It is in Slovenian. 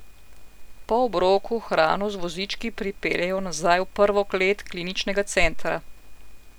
Po obroku hrano z vozički pripeljejo nazaj v prvo klet kliničnega centra.